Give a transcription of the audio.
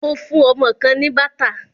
Mo fún ọmọ kan ní bàtà.